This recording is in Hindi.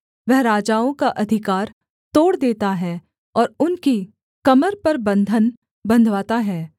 वह राजाओं का अधिकार तोड़ देता है और उनकी कमर पर बन्धन बन्धवाता है